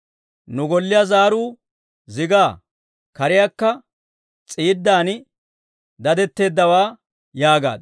Nu golliyaa zaaruu zigaa; kaaraykka s'iidan dadetteeddawaa yaagaaddu.